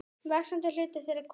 Vaxandi hluti þeirra er konur.